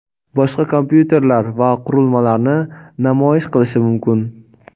boshqa kompyuterlar va qurilmalarni namoyish qilishi mumkin.